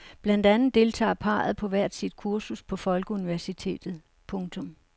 Blandt andet deltager parret på hvert sit kursus på folkeuniversitetet. punktum